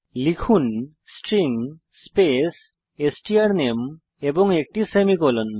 লিখুন string space স্ট্রানামে এবং একটি সেমিকোলন